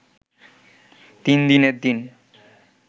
তিন দিনের দিন